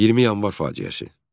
20 Yanvar faciəsi.